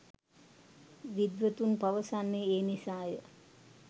විද්වතුන් පවසන්නේ ඒ නිසාය.